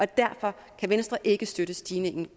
derfor kan venstre ikke støtte stigningen